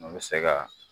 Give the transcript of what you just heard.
N bɛ se ka